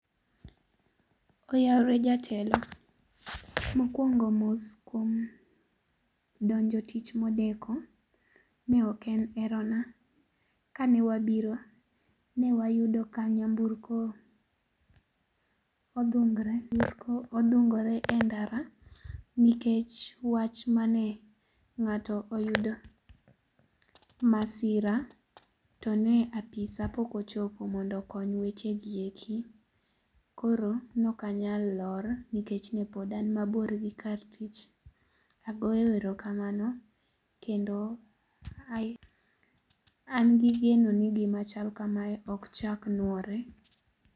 ''Oyawre jatelo. Mokwongo mos kuom donjo tich modeko. Ne ok en hero na. Kanewabiro, ne wayudo ka nyamburko odhungore e ndara nikech wach mane ng'ato oyudo masira to ne apisa pok ochopo mondo okony weche gi eki. Koro ne ok anyal lor nikech ne pod an mabor gi kar tich. Agoyo erokamano kendo an gi geno ni gima chal kame ok nyal nuore.